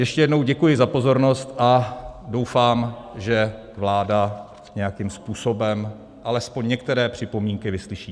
Ještě jednou děkuji za pozornost a doufám, že vláda nějakým způsobem alespoň některé připomínky vyslyší.